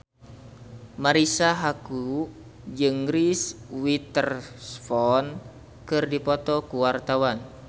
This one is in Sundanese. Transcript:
Marisa Haque jeung Reese Witherspoon keur dipoto ku wartawan